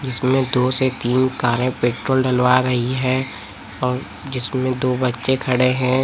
इसमें दो से तीन कारें पेट्रोल डलवा रही है और जिसमें दो बच्चे खड़े हैं।